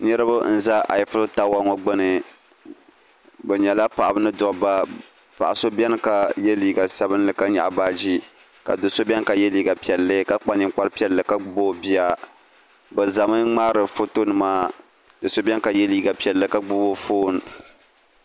niriba n-za ayiful tawa ŋɔ gbuni bɛ nyɛla paɣiba ni dabba paɣ'so beni ka ye liiga sabinli ka nyɛɣi baɣ'ʒee ka do'so beni ka ye liiga piɛlli ka kpa ninkpar'piɛlli ka gbibi o bia bɛ zami n-ŋmaari fotonima do'so beni ka ye liiga piɛlli ka gbibi o foon